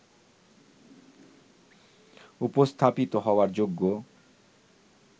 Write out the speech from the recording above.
উপস্থাপিত হওয়ার যোগ্য